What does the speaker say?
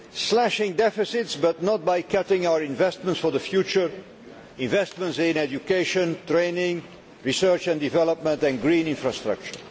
Slashing deficits, but not by cutting our investments for the future investments in education, training, research and development, and green infrastructure.